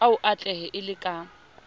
o atlehe e le ka